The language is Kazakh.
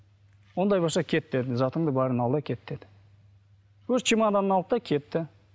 ондай болса кет деді затыңды бәрін ал да кет деді өз чемоданын алды да кетті